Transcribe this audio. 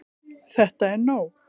ÞETTA ER NÓG!